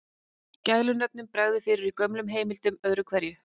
Gælunöfnum bregður fyrir í gömlum heimildum öðru hverju.